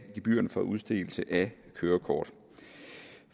gebyrerne for udstedelse af kørekort